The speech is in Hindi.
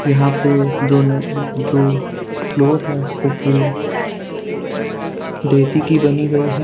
यहां पे जो न जो फ्लोर है वो पूरी रेती की बनी गई है।